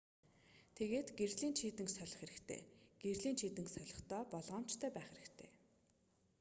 тэгээд гэрлийн чийдэнг солих хэрэгтэй гэрлийн чийдэнг солихдоо болгоомжтой байх хэрэгтэй